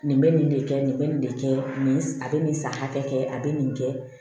Nin bɛ nin de kɛ nin bɛ nin de kɛ nin a bɛ nin san hakɛ kɛ a bɛ nin kɛ